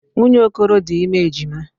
Nwunye Okoro dị ime ejima.